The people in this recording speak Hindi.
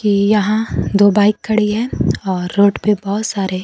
कि यहां दो बाइक खड़ी हैं और रोड पे बहुत सारे--